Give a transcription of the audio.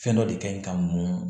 Fɛn dɔ de ka ɲi ka muɲun